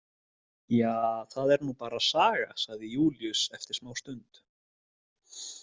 Ja, það er nú bara saga, sagði Júlíus eftir smástund.